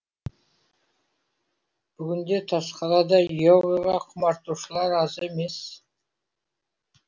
бүгінде тасқалада йогаға құмартушылар аз емес